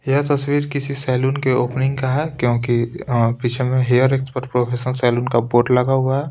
यह तस्वीर किसी सैलून के ओपनिंग का है क्योंकि पीछे में हेयर एक्सपर्ट प्रोफेशनल सैलून का बोर्ड लगा हुआ है।